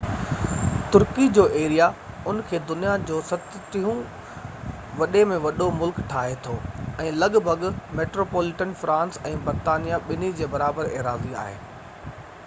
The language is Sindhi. ترڪي جو ايريا ان کي دنيا جو 37 هون وڏي ۾ وڏو ملڪ ٺاهي ٿو ۽ لڳ ڀڳ ميٽروپوليٽن فرانس ۽ برطانيا ٻني جي برابر ايراضي آهي